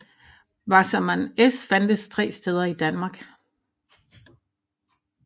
Wasserman S fandtes 3 steder i Danmark